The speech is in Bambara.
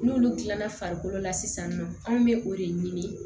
N'olu dilanna farikolo la sisan nɔ an bɛ o de ɲini